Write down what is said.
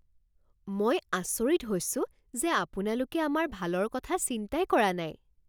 মই আচৰিত হৈছোঁ যে আপোনালোকে আমাৰ ভালৰ কথা চিন্তাই কৰা নাই